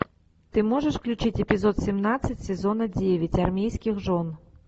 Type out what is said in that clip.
ты можешь включить эпизод семнадцать сезона девять армейских жен